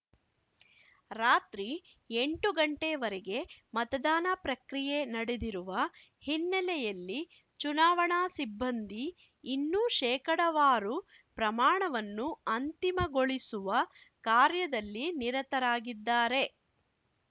ರಾತ್ರಿ ಎಂಟು ಗಂಟೆವರೆಗೆ ಮತದಾನ ಪ್ರಕ್ರಿಯೆ ನಡೆದಿರುವ ಹಿನ್ನೆಲೆಯಲ್ಲಿ ಚುನಾವಣಾ ಸಿಬ್ಬಂದಿ ಇನ್ನೂ ಶೇಕಡಾವಾರು ಪ್ರಮಾಣವನ್ನು ಅಂತಿಮಗೊಳಿಸುವ ಕಾರ್ಯದಲ್ಲಿ ನಿರತರಾಗಿದ್ದಾರೆ